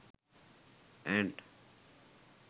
ant